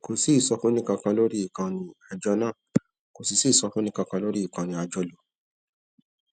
kò sí ìsọfúnni kankan lórí ìkànnì àjọ náà kò sì sí ìsọfúnni kankan lórí ìkànnì àjọlò